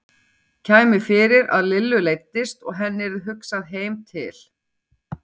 Kæmi fyrir að Lillu leiddist og henni yrði hugsað heim til